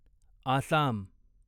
Assam